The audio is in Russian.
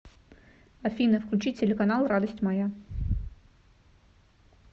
афина включи телеканал радость моя